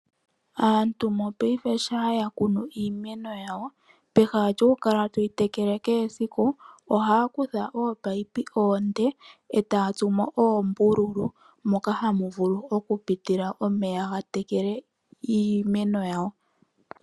Aantu yopaife shaaya kunu iimeno yawo peha lyokukala toyi tekele kehe esiku, ohaya kutha oopayipi oonde etaya tsumo oombululu moka hamuvulu okupila omeya gatekele iimeno yawo.